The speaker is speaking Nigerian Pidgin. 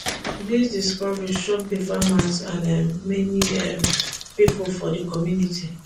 di discovery shock di farmers and um many um pipo for di community